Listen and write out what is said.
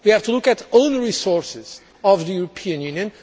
We have to look at own resources of the European Union.